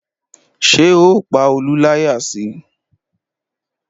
Ṣé o pa Olú láyà si?